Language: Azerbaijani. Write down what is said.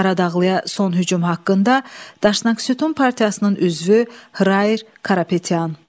Qaradağlıya son hücum haqqında Daşnak Sütun partiyasının üzvü Hr Krapetyan.